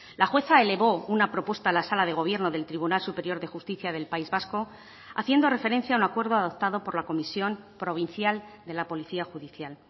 la jueza elevó una propuesta a la sala de gobierno del tribunal superior de justicia del país vasco haciendo referencia a un acuerdo adoptado por la comisión provincial de la policía judicial